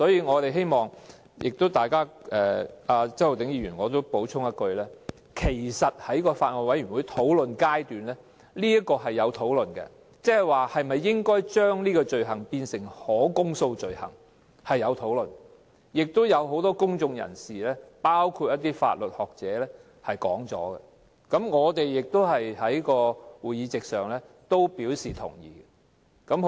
我也希望向周浩鼎議員補充說一句，其實在法案委員會討論階段，曾經討論應否將這項罪行列作可公訴罪行，也有很多公眾人士曾表達意見，我們在會上亦表示同意。